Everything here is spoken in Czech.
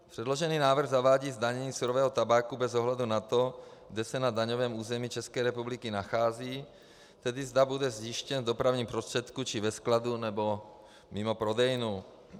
Předložený návrh zavádí zdanění surového tabáku bez ohledu na to, kde se na daňovém území České republiky nachází, tedy zda bude zjištěn v dopravním prostředku či ve skladu nebo mimo prodejnu.